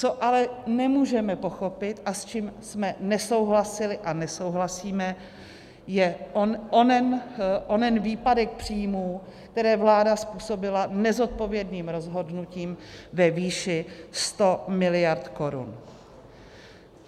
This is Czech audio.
Co ale nemůžeme pochopit a s čím jsme nesouhlasili a nesouhlasíme, je onen výpadek příjmů, které vláda způsobila nezodpovědným rozhodnutím ve výši 100 miliard korun.